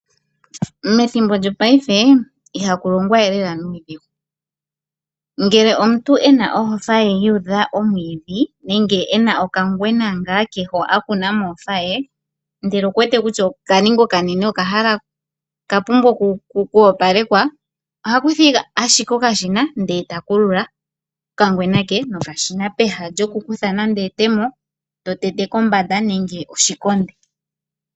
Methimbo lyopaife ihaku longwa we lela nuudhigu, ngele omuntu ena ohofa ye yuudha omwiidhi nenge ena okangwena ngaa ke ho akuna mohofa ye, ndele okuwete kutya okaninga okanene oka pumbwa kwoopalekwa ohakutha ashike okashina ndee takulula okangwena ke nokashina peha lyoku kutha nande etemo to tete kombanda nenge oshikonde.